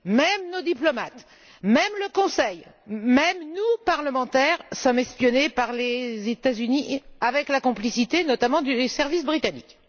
Même nos diplomates, même le Conseil, même nous, parlementaires, sommes espionnés par les États Unis, avec la complicité, notamment, des services britanniques.